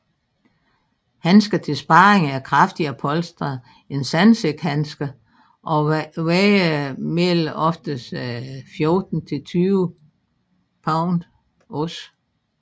Handsker til sparring er kraftigere polstret end sandsækhandsker og vejer mellem oftest 14 til 20 oz